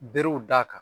Berew da ka